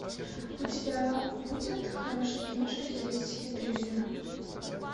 у тебя будет хорошая киношка в стилистике триллера